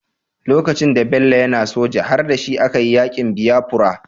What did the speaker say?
Lokacin da Bello yAna soja har dashi a kayi yakin biyafura